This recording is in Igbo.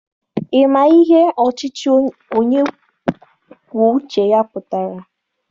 Ị ma ihe ọchịchị onye kwuo uche ya pụtara?